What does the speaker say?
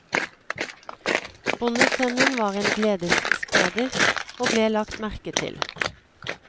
Bondesønnen var en gledesspreder og ble lagt merke til.